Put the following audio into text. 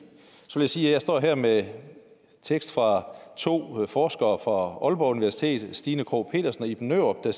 så sige at jeg står her med en tekst fra to forskere fra aalborg universitet stina krogh petersen og iben nørup der